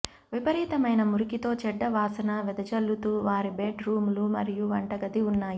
విపరీతమైన మురికితో చెడ్డ వాసన వెదజల్లుతూ వారి బెడ్ రూములు మరియు వంటగది ఉన్నాయి